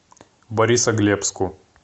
борисоглебску